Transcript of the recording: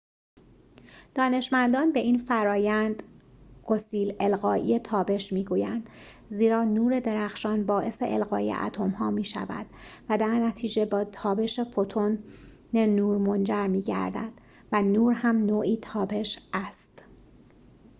دانشمندان به این فرآیند گسیل القایی تابش می‌گویند زیرا نور درخشان باعث القای اتم‌ها می‌شود و درنتیجه به تابش فوتون نور منجر می‌گردد و نور هم نوعی تابش است